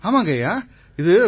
நிதேத் குப்தா ஆமாங்கய்யா